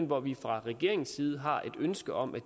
hvor vi fra regeringens side har et ønske om at